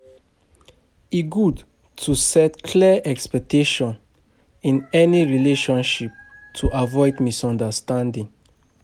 E good to set clear expectations in any relationship to avoid misunderstanding.